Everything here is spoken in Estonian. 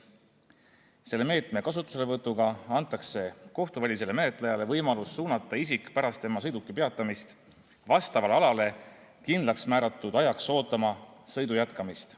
Selle meetme kasutuselevõtuga antakse kohtuvälisele menetlejale võimalus suunata isik pärast tema sõiduki peatamist vastavale alale kindlaksmääratud ajaks ootama sõidu jätkamist.